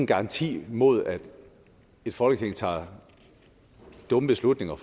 garanti mod at et folketing tager dumme beslutninger